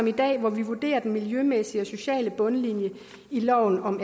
i dag hvor vi vurderer den miljømæssige og sociale bundlinje i loven om